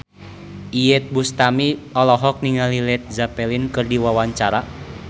Iyeth Bustami olohok ningali Led Zeppelin keur diwawancara